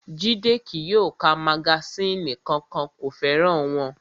Jídé kí yóò ka magasínì kankan, kò fẹ́ràn wọn